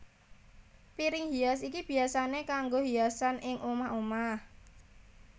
Piring hias iki biyasané kanggo hiasan ing omah omah